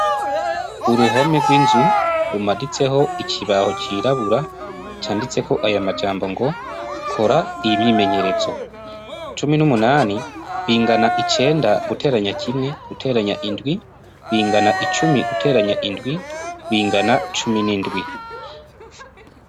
Uruhome gw' inzu rumaditseho ikibaho cirabura canditseko aya majambo ngo kora imyimenyerezo cumi n' umunani bingana icenda guteranya kimwe guteranya indwi bingana icumi guteranya indwi bingana cumi n' indwi.